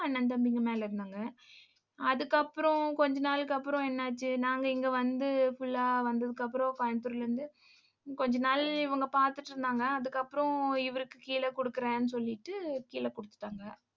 அண்ணன், தம்பிங்க மேல இருந்தாங்க. அதுக்கப்புறம் கொஞ்ச நாளைக்கு அப்புறம் என்னாச்சு? நாங்க இங்க வந்து full ஆ வந்ததுக்கு அப்புறம் கோயம்புத்தூர்ல இருந்து கொஞ்ச நாள் இவங்க பார்த்துட்டு இருந்தாங்க. அதுக்கப்புறம் இவருக்கு கீழே கொடுக்கிறேன்னு சொல்லிட்டு கீழே கொடுத்துட்டாங்க.